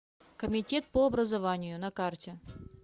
комитет по образованию на карте